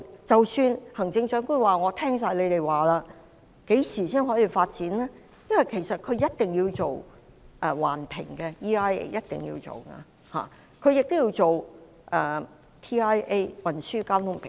即使行政長官說完全接納你們的意見，何時才可以發展呢？因為一定要做環境影響評估，亦要做運輪交通評估。